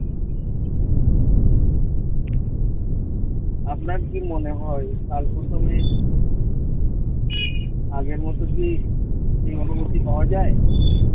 আপনার কি মনে হয় কাল প্রথমে আগের মত কি সেই অনুভূতি পাওয়া যায়?